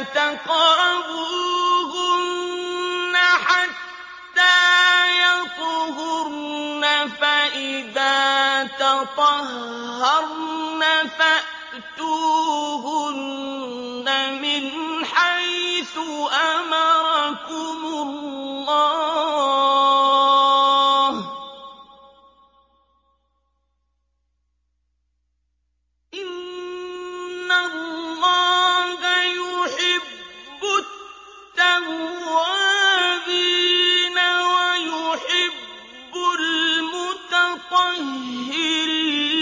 تَقْرَبُوهُنَّ حَتَّىٰ يَطْهُرْنَ ۖ فَإِذَا تَطَهَّرْنَ فَأْتُوهُنَّ مِنْ حَيْثُ أَمَرَكُمُ اللَّهُ ۚ إِنَّ اللَّهَ يُحِبُّ التَّوَّابِينَ وَيُحِبُّ الْمُتَطَهِّرِينَ